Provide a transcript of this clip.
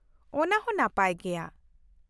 ᱚᱱᱟᱦᱚᱸ ᱱᱟᱯᱟᱭ ᱜᱮᱭᱟ ᱾